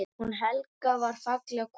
Hún Helga var falleg kona.